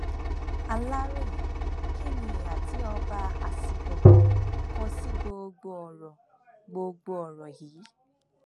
aláròyé kí ni ìhà tí ọba asigangan kọ sí gbogbo ọrọ gbogbo ọrọ yìí